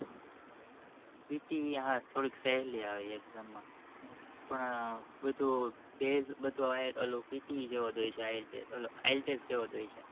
pte હા થોડીક સેહલી આવે exam માં પણ બધો PTE જેવો જ હોય છે ઓલ જેવો જ હોય છે